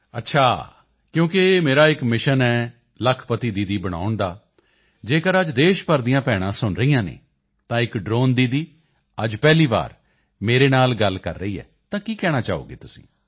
ਅੱਛਾ ਕਿਉਂਕਿ ਮੇਰਾ ਇਕ ਮਿਸ਼ਨ ਹੈ ਲੱਖਪਤੀ ਦੀਦੀ ਬਣਾਉਣ ਦਾ ਜੇਕਰ ਅੱਜ ਦੇਸ਼ ਭਰ ਦੀਆਂ ਭੈਣਾਂ ਸੁਣ ਰਹੀਆਂ ਹਨ ਤਾਂ ਇਕ ਡ੍ਰੋਨ ਦੀਦੀ ਅੱਜ ਪਹਿਲੀ ਵਾਰੀ ਮੇਰੇ ਨਾਲ ਗੱਲ ਕਰ ਰਹੀ ਹੈ ਤਾਂ ਕੀ ਕਹਿਣਾ ਚਾਹੋਗੇ ਤੁਸੀਂ